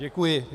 Děkuji.